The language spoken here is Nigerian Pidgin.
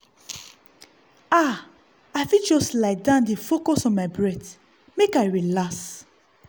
ah i fit just lie down dey focus on my breath make i relax.